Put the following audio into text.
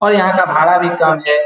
और यहाँ का भाड़ा भी कम है।